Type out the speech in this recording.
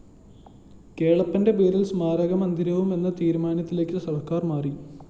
കേളപ്പന്റെ പേരില്‍ സ്മാരക മന്ദിരവും എന്ന തീരുമാനത്തിലേക്ക് സര്‍ക്കാര്‍ മാറി